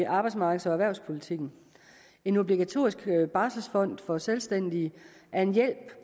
arbejdsmarkeds og erhvervspolitikken en obligatorisk barselsfond for selvstændige er en hjælp